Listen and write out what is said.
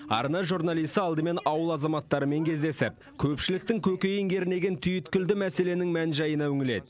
арна журналисі алдымен ауыл азаматтарымен кездесіп көпшіліктің көкейін кернеген түйткілді мәселенің мән жайына үңіледі